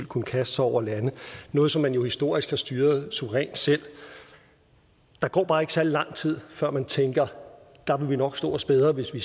kunne kaste sig over lande noget som man jo historisk har styret suverænt selv der går bare ikke særlig lang tid før man tænker der ville vi nok stå os bedre hvis vi